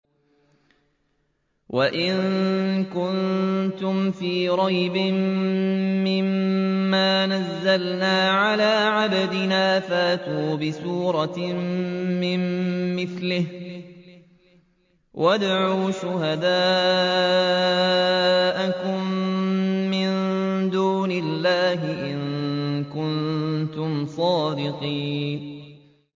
وَإِن كُنتُمْ فِي رَيْبٍ مِّمَّا نَزَّلْنَا عَلَىٰ عَبْدِنَا فَأْتُوا بِسُورَةٍ مِّن مِّثْلِهِ وَادْعُوا شُهَدَاءَكُم مِّن دُونِ اللَّهِ إِن كُنتُمْ صَادِقِينَ